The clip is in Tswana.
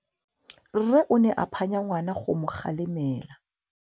Rre o ne a phanya ngwana go mo galemela.